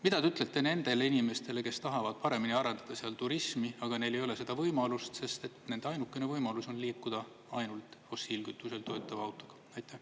Mida te ütlete nendele inimestele, kes tahavad paremini arendada seal turismi, aga neil ei ole seda võimalust, sest nende ainukene võimalus on liikuda ainult fossiilkütusel töötava autoga?